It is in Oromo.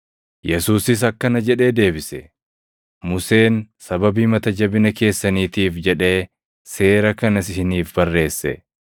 Yesuusis akkana jedhee deebise; “Museen sababii mata jabina keessaniitiif jedhee seera kana isiniif barreesse.